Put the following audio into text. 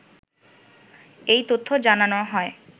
এই তথ্য জানানো হয়